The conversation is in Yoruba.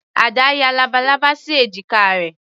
Ada ya labalábá sí èjìká rẹ̀.